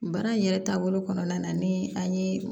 Baara in yɛrɛ taabolo kɔnɔna na ni an ye